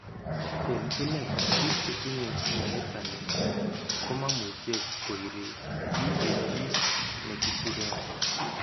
En inei, bik chetinye mianitani komamuche koiri GAG negikuren